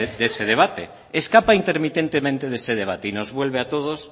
de ese debate escapa intermitentemente de ese debate y nos vuelve a todos